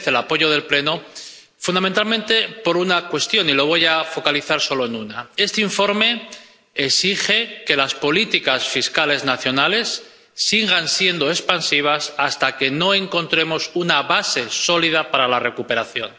Merece el apoyo del Pleno fundamentalmente por una cuestión —y lo voy a focalizar solo en una— este informe exige que las políticas fiscales nacionales sigan siendo expansivas hasta que no encontremos una base sólida para la recuperación.